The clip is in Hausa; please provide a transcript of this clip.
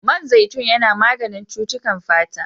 Man zaitun yana maganin cutukan fata.